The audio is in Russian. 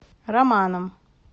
романом